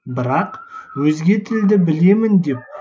бірақ өзге тілді білемін деп